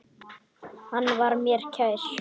Hann var mér kær.